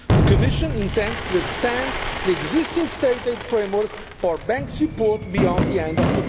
rules. The Commission intends to extend the existing state aid framework for bank support beyond the